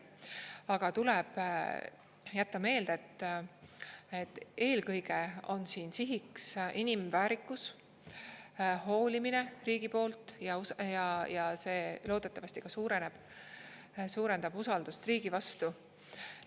Aga tuleb jätta meelde, et eelkõige on siin sihiks inimväärikus, hoolimine riigi poolt ja see loodetavasti suurendab usaldust riigi vastu.